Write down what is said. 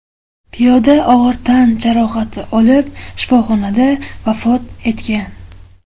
Piyoda og‘ir tan jarohati olib, shifoxonada vafot etgan.